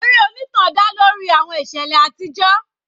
Eré onítàn dá lórí àwọn ìṣẹ̀lẹ̀ àtijọ́.